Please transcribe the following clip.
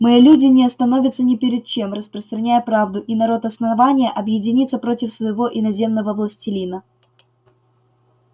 мои люди не остановятся ни перед чем распространяя правду и народ основания объединится против своего иноземного властелина